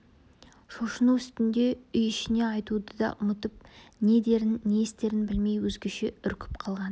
шошыну үстінде үй ішіне айтуды да ұмытып не дерін не істерін білмей өзгеше үркіп қалған